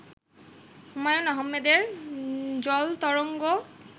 হুমায়ূন আহমেদের জলতরঙ্গ